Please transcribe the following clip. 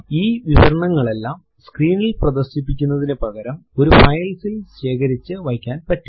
ഈ വിവരണങ്ങളെല്ലാം സ്ക്രീനിൽ പ്രദർശിപ്പിക്കുന്നതിനു പകരം ഒരു file ൽ ശേഖരിച്ചു വയ്ക്കാൻ പറ്റും